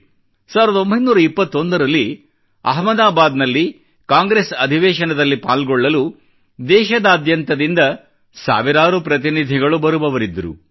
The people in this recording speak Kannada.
1921 ರಲ್ಲಿ ಅಹ್ಮದಾಬಾದ್ ನಲ್ಲಿ ಕಾಂಗ್ರೆಸ್ ಅಧಿವೇಶನದಲ್ಲಿ ಪಾಲ್ಗೊಳ್ಳಲು ದೇಶದಾದ್ಯಂತದಿಂದ ಸಾವಿರಾರು ಪ್ರತಿನಿಧಿಗಳು ಬರುವವರಿದ್ದರು